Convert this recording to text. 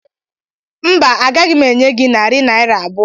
Mba, agaghị m enye gị narị naira abụọ.